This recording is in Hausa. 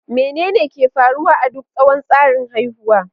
Menene ke faruwa a duk tsawon tsarin haihuwa?